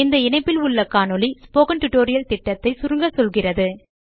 இந்த இணைப்பில் உள்ள காணொளி ஸ்போக்கன் டியூட்டோரியல் திட்டத்தை சுருங்க சொல்கிறது